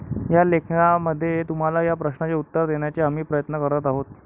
या लेखामध्ये तुम्हाला या प्रश्नाचे उत्तर देण्याचा आम्ही प्रयत्न करत आहोत.